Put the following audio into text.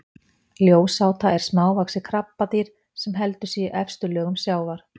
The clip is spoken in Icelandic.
ljósáta er smávaxið krabbadýr sem heldur sig í efstu lögum sjávar